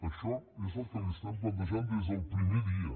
això és el que li plantegem des del primer dia